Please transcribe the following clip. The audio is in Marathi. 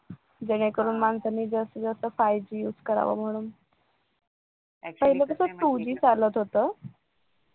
जेणेकरून माणसांनी जास्तीत जास्त five Guse करावं म्हणून पाहिलं कस two G चालत होत